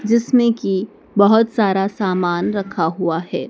जिसमें की बहोत सारा सामान रखा हुआ है।